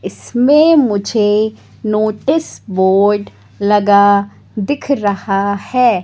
इसमें मुझे notice board लगा दिख रहा है।